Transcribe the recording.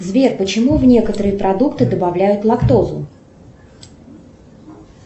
сбер почему в некоторые продукты добавляют лактозу